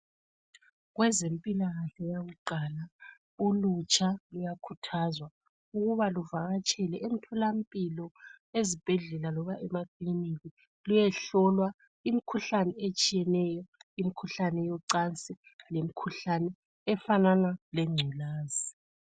Kwezempilakahle yakuqala ulutsha luyakhuthazwa ukuba luvakatshele emtholampilo ezibhendlela loba emakilinika luyehlolwa imkhuhlane etshiyeneyo imkhuhlane yocansi lemkhuhlane efanana lengculaza.